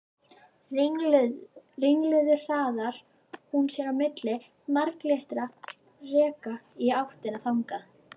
Ringluð hraðar hún sér milli marglitra rekka í áttina þangað.